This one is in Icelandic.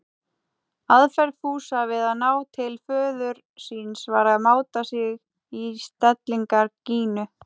Aðferð Fúsa við að ná til föður síns var að máta sig í stellingar Gínu.